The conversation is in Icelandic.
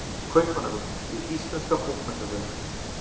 Kaupmannahöfn: Hið íslenska bókmenntafélag.